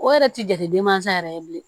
O yɛrɛ ti jate den mansa yɛrɛ ye bilen